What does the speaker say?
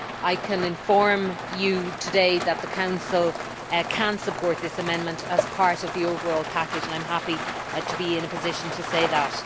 I can inform you today that the Council can support this amendment as part of the overall package and I am happy to be in a position to say that.